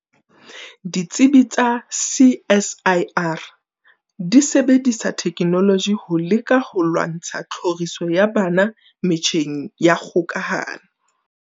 Ditsibi tsa CSIR di sebedisa thekenoloji ho leka ho lwantsha tlhoriso ya bana metjheng ya kgokahano.